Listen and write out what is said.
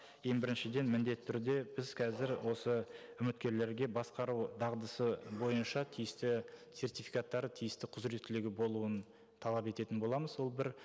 ең біріншіден міндетті түрде біз қазір осы үміткерлерге басқару дағдысы бойынша тиісті сертификаттар тиісті құзыреттілігі болуын талап ететін боламыз ол бір